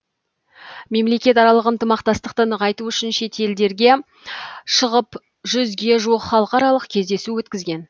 мемлекетаралық ынтымақтастықты нығайту үшін шетелдерге шығып жүзге жуық халықаралық кездесу өткізген